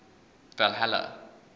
valhalla